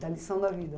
Da lição da vida.